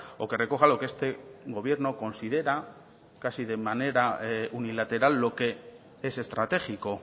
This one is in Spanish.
o que recoja lo que este gobierno considera casi de manera unilateral lo que es estratégico